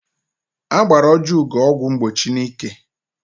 Agbara Ojiugo ọgwụ mgbochi n'ike.